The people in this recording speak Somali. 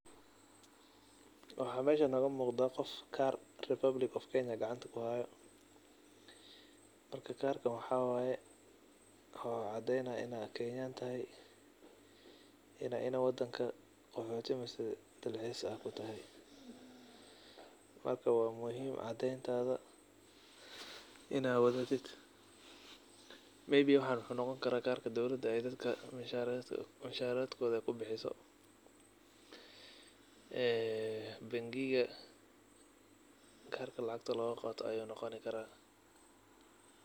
Waxa meeshan nogamuqda qof kaar republic of kenya gacanta kuhayo marka karkan waxa waye wuxu cadeynaya in a kenyan tahay in ad wadanka qoxoti mise dalxiis ad kutahay marka wa muhiim cadeentada in ad wadatid maybe waxan wuxu noqoni kara waxa ey dowlada dadka musharadkoda kubixiso ee bangiga karka lacagta logaqato ayu noqoni kara.